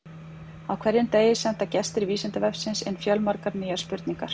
Á hverjum degi senda gestir Vísindavefsins inn fjölmargar nýjar spurningar.